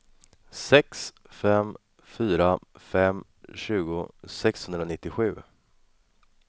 sex fem fyra fem tjugo sexhundranittiosju